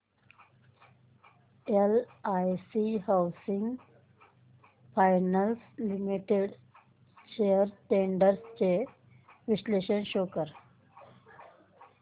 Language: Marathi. LIC housing finance limited shares trends चे विश्लेषण शो कर